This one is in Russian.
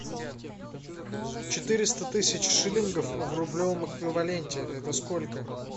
четыреста тысяч шиллингов в рублевом эквиваленте это сколько